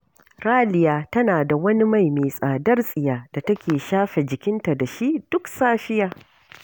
Raliya tana da wani mai mai tsadar tsiya da take shafe jikinta da shi, duk safiya